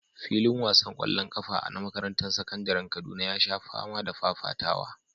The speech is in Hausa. Filin wasan ƙwallon ƙafa na makarantar sakandaren Kaduna ya sha fama da fafatawa.